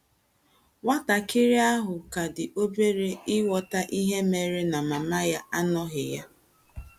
“ Nwatakịrị ahụ ka dị obere ịghọta ihe mere na mama ya anọghị ya. ”